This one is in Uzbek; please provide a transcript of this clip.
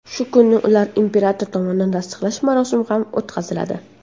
Shu kuni ularni imperator tomonidan tasdiqlash marosimi ham o‘tkaziladi.